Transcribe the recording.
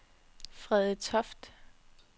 Frede Toft